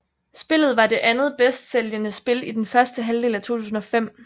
Spillet var det andet bedstsælgende spil i den første halvdel af 2005